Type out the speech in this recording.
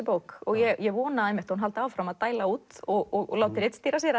bók og ég vona einmitt að hún haldi áfram að dæla út og láta ritstýra sér